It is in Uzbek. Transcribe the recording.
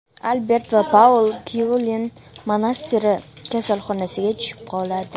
Albert va Paul Kyoln monastiri kasalxonasiga tushib qoladi.